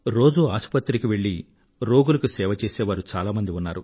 రోజూ ఆసుపత్రికి వెళ్ళి రోగులకు సేవ చేసేవారు చాలా మంది ఉన్నారు